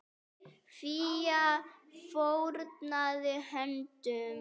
Fía fórnaði höndum.